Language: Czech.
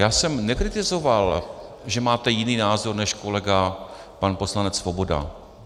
Já jsem nekritizoval, že máte jiný názor než kolega pan poslanec Svoboda.